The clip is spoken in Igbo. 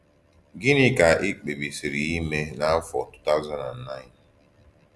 Gịnị kà ì kpèbísìrì íké ímè n’áfọ̀ 2009?